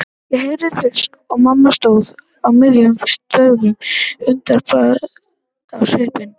Ég heyrði þrusk og mamma stóð á miðju stofugólfinu undrandi á svip.